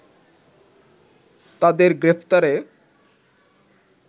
তাদের গ্রেফতারে